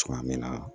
Cogoya min na